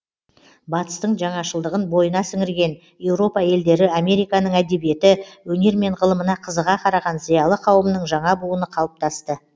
батыстың жаңашылдығын бойына сіңірген еуропа елдері американың әдебиеті өнері мен ғылымына қызыға қараған зиялы қауымның жаңа буыны қалыптасты